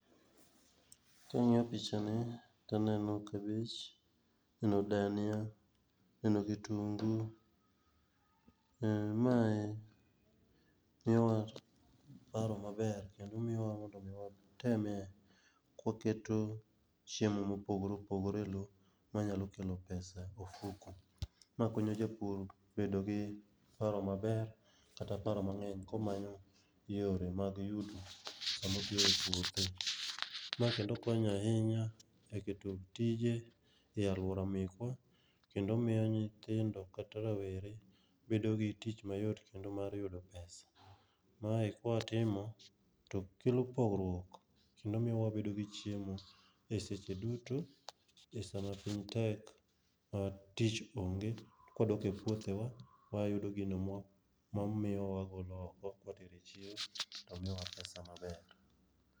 Kang'iyo picha ni to aneno kabich, aneno dania, aneno kitungu, Mae en miyowa paro maber kendo miyowa mondo mi watemie kwaketo chiemo mopogore opogpore e loo manyalo kelo pesa e ofuku.,Ma konyo japur bedo gi paro maber kata paro mang'eny komanyo yore mag yuto samo otiyo epuothe. Ma kendo konyo ahinya eketo tije e aluora mekwa, kendo omiyo nyithindo kata rawere bedo gi tich mayot kendo mar yudo pesa. Mae kwatimo to kelo pogruok kendo miyowabedo gi chiemo e seche duto e sama piny tek ma tich onge to kwadoke puothewa wayudo gino mawagolo oko kwatere echiro to miyowa pesa maber.